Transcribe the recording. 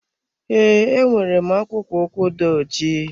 Ee, enwere m akwụkpo ụkwụ dị ojii.